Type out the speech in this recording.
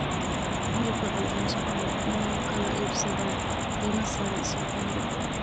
Hilibka cul-culus waxaa lagu kala iibsadaa qiimo sare suuqa hilibka.